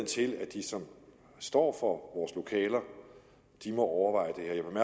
til at de som står for vores lokaler må overveje